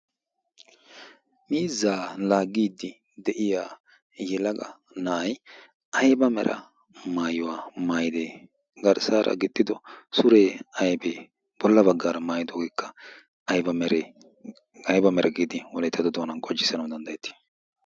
mizaala gidi de'iya yelaga na'ay ayba mera maayuwaa maaydee garssaara gixxido suree aybee bolla baggaara maayidoogeekka ayba mera giidi wolettado doanan qojissanawu danddayettii